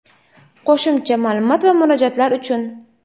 Qo‘shimcha ma’lumot va murojaatlar uchun:.